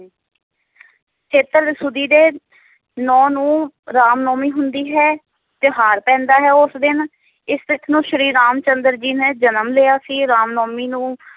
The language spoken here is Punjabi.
ਦੇ ਨੌਂ ਨੂੰ ਰਾਮ ਨਾਵਮੀ ਹੁੰਦੀ ਹੈ ਤਿਓਹਾਰ ਪੈਂਦਾ ਹੈ ਉਸ ਦਿਨ ਇਸ ਤਿਥ ਨੂੰ ਸ਼੍ਰੀ ਰਾਮ ਚੰਦਰ ਜੀ ਨੇ ਜਨਮ ਲਿਆ ਸੀ ਰਾਮ ਨਾਵਮੀ ਨੂੰ